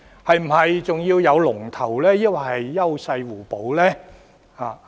又或是否仍要有龍頭，還是應該優勢互補？